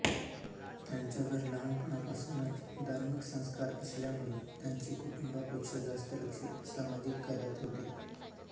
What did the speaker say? त्यांच्यावर लहानपणापासूनच धार्मिक संस्कार असल्यामुळे त्यांचे कुटुंबापेक्षा जास्त लक्ष सामाजिक कार्यात होते